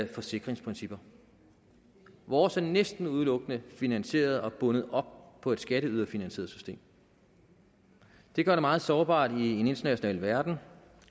forsikringsprincipper vores er næsten udelukkende finansieret og bundet op på et skatteyderfinansieret system det gør det meget sårbart i en international verden